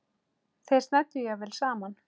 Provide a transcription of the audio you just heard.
Þeir snæddu jafnvel saman.